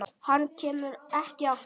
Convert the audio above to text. Hann kemur ekki aftur.